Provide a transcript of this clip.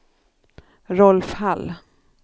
Rolf Hall